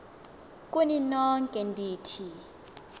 kuni nonke ndithi